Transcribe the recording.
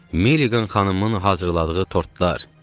Milliqan xanımın hazırladığı tortlar.